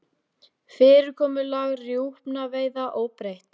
Fyrirkomulag rjúpnaveiða óbreytt